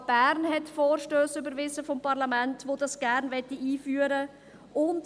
Die Stadt Bern hat Vorstösse des Parlaments überwiesen, welche diese einführen wollen.